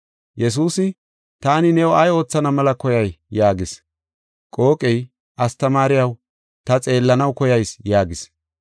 Yesuusi, “Taani new ay oothana mela koyay?” yaagis. Qooqey, “Astamaariyaw, ta xeellanaw koyayis” yaagis.